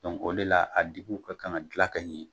o le la a dikiw ka kan ka gilan ka ɲɛ